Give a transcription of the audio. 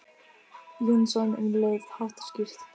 Jónsson um leið, hátt og skýrt.